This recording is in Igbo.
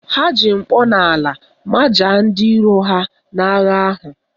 Ha ji mkpọnala majaa ndị iro ha n'agha ahụ